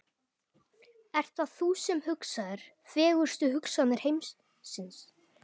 Ert það þú sem hugsaðir, fegurstu hugsanir heimsins?